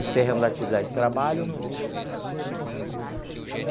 Encerramos a atividade de trabalho.